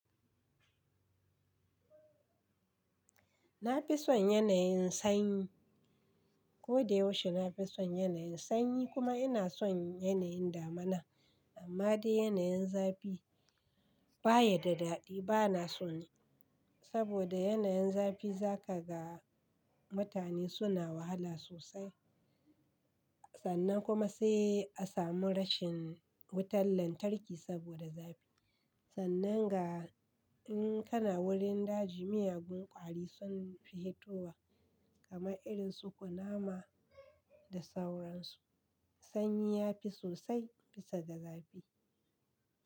Na fi son yanayin sanyi. Ko da yaushe na fi son yanayin sanyi kuma ina son yanayin damana. Amma dai yanayin zafi baya da daɗi. Ba na son nai saboda yanayin zafi za ka ga mutane suna wahala sosai. Sannan kuma se a samu rashin wutar lantarki saboda zafi. Sannan ga in kana wurin daji, miyagun ƙwari sun fi hitowa kamar irin su kunama da sauransu. Sanyi ya fi sosai bisa da zafi.